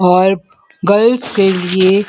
और गर्ल्स के लिए --